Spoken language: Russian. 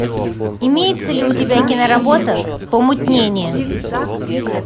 имеется ли у тебя киноработа помутнение